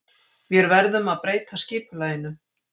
Vér verðum að breyta skipulaginu.